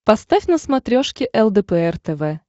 поставь на смотрешке лдпр тв